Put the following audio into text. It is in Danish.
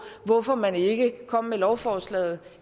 hvorfor man ikke kom med lovforslaget